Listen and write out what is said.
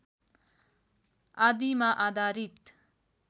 आदिमा आधारित